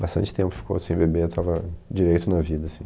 Bastante tempo ficou sem beber, estava direito na vida, assim.